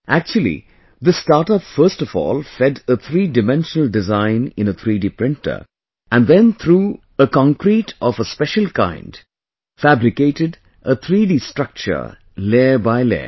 Actually, this startup first of all fed a 3 Dimensional design in a 3 D printer and then through a concrete of a special kind fabricated a 3 D structure layer by layer